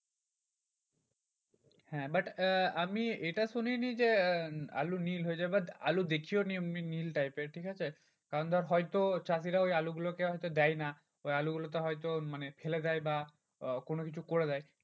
হ্যাঁ but আহ আমি এটা শুনিনি যে আলু নীল হয় যায়। but আলু দেখিও নি এমনি নীল type এর ঠিকাছে? কারণ ধর হয়তো চাষীরা ওই আলুগুলোকে দেয় না ওই আলুগুলোকে হয়তো মানে ফেলে দেয় বা আহ কোনোকিছু করে দেয়।